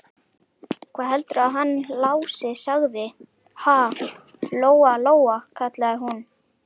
Hvað heldurðu að hann Lási segði, ha, Lóa-Lóa, kallaði hún.